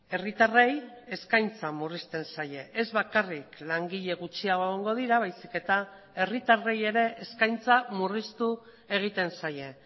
herritarrei eskaintza murrizten zaie ez bakarrik langile gutxiago egongo dira baizik eta herritarrei ere eskaintza murriztu egiten zaie